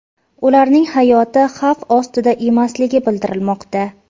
Ularning hayoti xavf ostida emasligi bildirilmoqda.